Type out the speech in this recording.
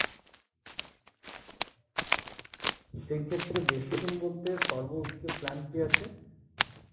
সেইক্ষেত্রে বেশি দিন বলতে সর্বোচ্চ plan কী আছে?